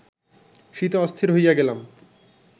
শীতে অস্থির হইয়া গেলাম